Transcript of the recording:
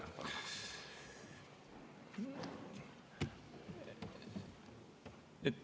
Viis minutit on teil veel aega.